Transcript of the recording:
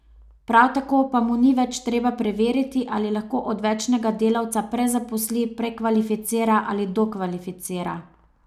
Prav tako pa mu ni več treba preveriti, ali lahko odvečnega delavca prezaposli, prekvalificira ali dokvalificira.